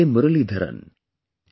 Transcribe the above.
Muralidharan and P